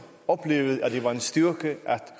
oplevede at det var en styrke at